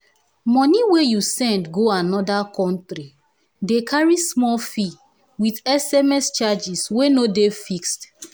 moni wey you send go anoda countri dey carry small fee with sms charges wey no dey fixed